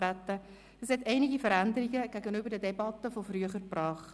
Dieses hat einige Veränderungen gegenüber den Debatten von früher gebracht.